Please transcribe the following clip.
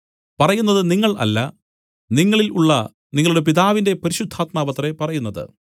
പറയുന്നത് നിങ്ങൾ അല്ല നിങ്ങളിൽ ഉള്ള നിങ്ങളുടെ പിതാവിന്റെ പരിശുദ്ധാത്മാവത്രേ പറയുന്നത്